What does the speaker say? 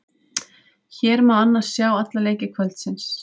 Hér má annars sjá alla leiki kvöldsins.